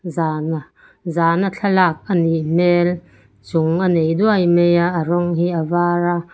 zan zan a thlalak anih hmel chung a nei duai mai a a rawng hi a var a.